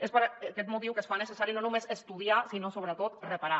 és per aquest motiu que es fa necessari no només estudiar sinó sobretot reparar